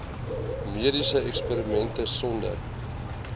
mediese eksperimente sonder